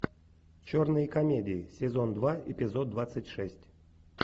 черные комедии сезон два эпизод двадцать шесть